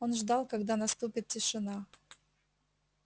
он ждал когда наступит тишина